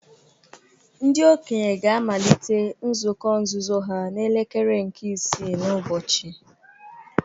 Ndị okenye ga-amalite nzukọ nzuzo ha n’elekere nke isii n’ụbọchị